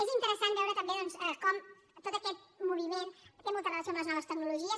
és interessant veure també com tot aquest moviment té molta relació amb les noves tecnologies